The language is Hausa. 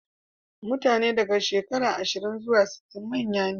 Mutane daga shekaru ashirin zuwa sittin manya ne.